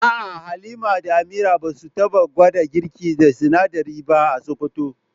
A'a Halima da Amira ba su taba gwada girki da sinadarin ba a Sokoto.